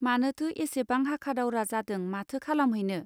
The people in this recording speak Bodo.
मानोथो एसेबां हाखादावरा जादों माथो खालामहैनो.